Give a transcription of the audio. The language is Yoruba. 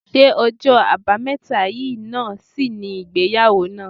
Ṣé ọjọ́ àbámẹ́ta yìí náà sì ni ìgbéyàwó náà?